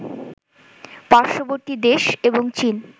পার্শ্ববর্তী দেশ এবং চীন